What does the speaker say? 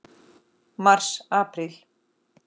Mars Apríl